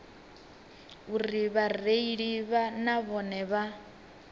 uri vhareili na vhone vha